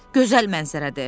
Gözəl mənzərədir.